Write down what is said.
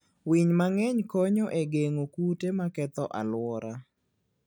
Winy mang'eny konyo e geng'o kute maketho alwora.